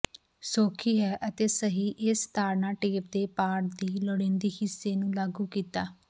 ਸੌਖੀ ਹੈ ਅਤੇ ਸਹੀ ਇਸ ਤਾੜਨਾ ਟੇਪ ਦੇ ਪਾਠ ਦੀ ਲੋੜੀਦੀ ਹਿੱਸੇ ਨੂੰ ਲਾਗੂ ਕੀਤਾ